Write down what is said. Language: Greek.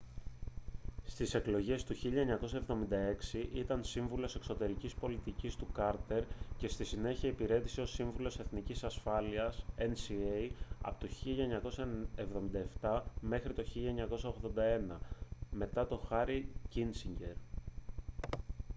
στις εκλογές του 1976 ήταν σύμβουλος εξωτερικής πολιτικής του κάρτερ και στη συνέχεια υπηρέτησε ως σύμβουλος εθνικής ασφάλειας nsa από το 1977 μέχρι το 1981 μετά τον χένρι κίσινγκερ